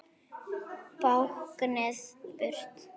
Báknið burt?